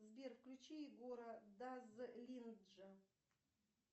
сбер включи егора дазлинджа